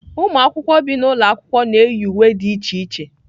Ụmụ akwụkwọ bi n'ụlọ akwụkwọ na-eyi uwe dị iche iche.